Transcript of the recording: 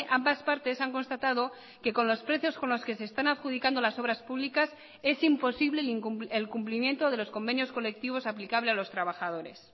ambas partes han constatado que con los precios con los que se están adjudicando las obras públicas es imposible el cumplimiento de los convenios colectivos aplicable a los trabajadores